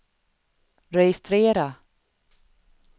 registrera